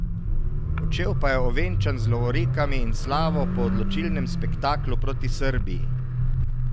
Odšel pa je ovenčan z lovorikami in slavo po odločilnem spektaklu proti Srbiji.